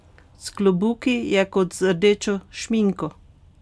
S klobuki je kot z rdečo šminko!